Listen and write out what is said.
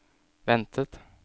ventet